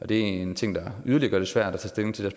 det er en ting der yderligere gør det svært at tage stilling til